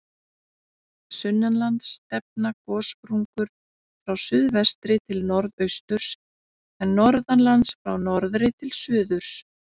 Sunnanlands stefna gossprungur frá suðvestri til norðausturs, en norðanlands frá norðri til suðurs.